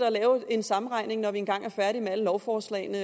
at lave en sammenregning når vi engang er færdige med alle lovforslagene